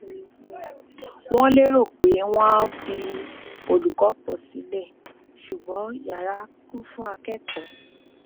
wọn lérò pé wọn á fi olùkọ pọ sílẹ ṣùgbọn yara kún fún akẹkọọ